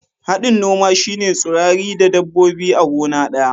Hadin noma shine tsurrai da dabbobi a gona daya.